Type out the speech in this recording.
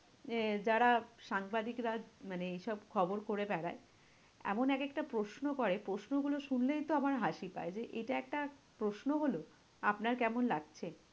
যে যারা সাংবাদিকরা মানে এই সব খবর করে বেড়ায়, এমন এক একটা প্রশ্ন করে, প্রশ্নগুলো শুনলেই তো আমার হাসি পায়। যে এটা একটা প্রশ্ন হলো? আপনার কেমন লাগছে?